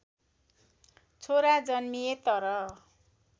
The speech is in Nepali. छोरा जन्मिए तर